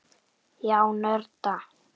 Já, nörda.